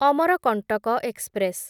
Amarkantak express